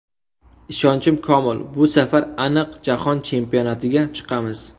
Ishonchim komil, bu safar aniq Jahon chempionatiga chiqamiz.